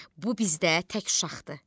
bu bizdə tək uşaqdır.